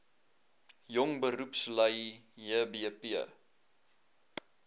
jong beroepslui jbp